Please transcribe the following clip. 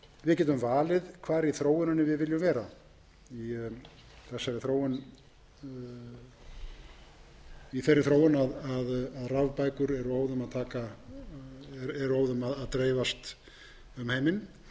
við getum valið hvar í þróuninni við viljum vera við getum valið hvar í þróuninni við viljum vera fremst í miðjunni og